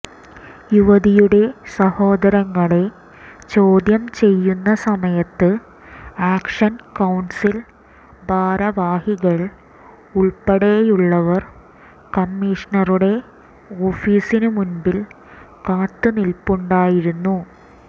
യുവതിയുടെ സഹോദരങ്ങളെ ചോദ്യം ചെയ്യുന്ന സമയത്ത് ആക്ഷൻ കൌൺസിൽ ഭാരവാഹികൾ ഉൾപ്പെടെയുള്ളവർ കമ്മീഷണറുടെ ഓഫീസിന് മുൻപിൽ കാത്തുനിൽപ്പുണ്ടായിരുന്നു